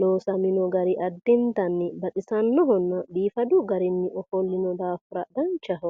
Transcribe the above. loosamino gari addintanni baxisannohonna biifadu garinni ofollino daafira danchaho.